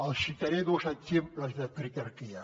els citaré dos exemples de critarquia